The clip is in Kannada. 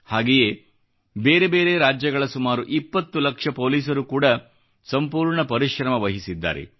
ಹಾಗೆಯೇ ಬೇರೆ ಬೇರೆ ರಾಜ್ಯಗಳ ಸುಮಾರು 20 ಲಕ್ಷ ಪೋಲಿಸರು ಕೂಡಾ ಸಂಪೂರ್ಣ ಪರಿಶ್ರಮವಹಿಸಿದ್ದಾರೆ